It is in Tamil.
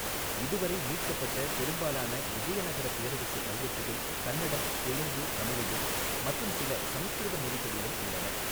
இதுவரை மீட்கப்பட்ட பெரும்பாலான விஜயநகர பேரரசு கல்வெட்டுகள் கன்னடம், தெலுங்கு, தமிழிலும் மற்றும் சில சமஸ்கிருத மொழிகளிலும் உள்ளன.